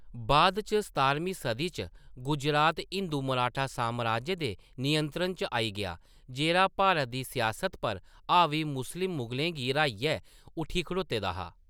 बाद इच सतारमीं सदी च, गुजरात हिंदू मराठा साम्राज्य दे नियंत्रण च आई गेआ, जेह्‌‌ड़ा भारत दी सियासत पर हावी मुस्लिम मुगलें गी र्‌हाइयै उट्ठी खड़ोते दा हा।